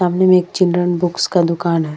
सामने मे children books का एक दुकान है।